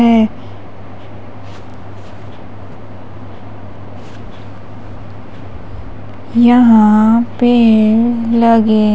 है यहां पे लगे--